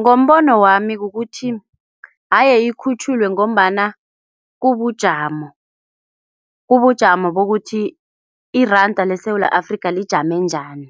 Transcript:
Ngombono wami kukuthi aye ikhutjhulwe ngombana kubujamo. Kubujamo bokuthi iranda leSewula Afrika lijame njani.